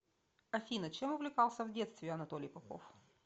афина чем увлекался в детстве анатолий попов